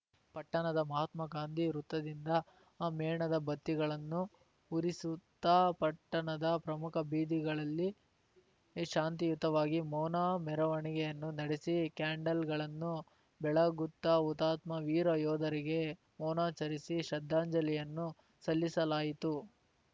ಪಟ್ಟಣದ ಮಹಾತ್ಮ ಗಾಂಧಿ ವೃತ್ತದಿಂದ ಮೇಣದ ಬತ್ತಿಗಳನ್ನು ಉರಿಸುತ್ತ ಪಟ್ಟಣದ ಪ್ರಮುಖ ಬೀದಿಗಳಲ್ಲಿ ಶಾಂತಿಯುತವಾಗಿ ಮೌನ ಮೆರವಣಿಗೆಯನ್ನು ನೆಡೆಸಿ ಕ್ಯಾಂಡಲ್‌ಗಳನ್ನು ಬೆಳಗುತ್ತ ಹುತಾತ್ಮ ವೀರ ಯೋಧರಿಗೆ ಮೌನಾಚರಿಸಿ ಶ್ರದ್ಧಾಂಜಲಿಯನ್ನು ಸಲ್ಲಿಸಲಾಯಿತು